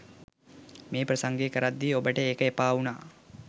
මේ ප්‍රසංගය කරද්දී ඔබට ඒක එපාවුනා.